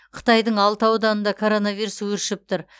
қытайдың алты ауданында коронавирус өршіп тұр